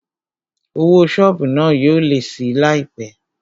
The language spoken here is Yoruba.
Owó sọ́ọ̀bù náà yóò lé síi láìpé